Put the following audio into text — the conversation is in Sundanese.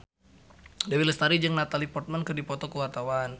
Dewi Lestari jeung Natalie Portman keur dipoto ku wartawan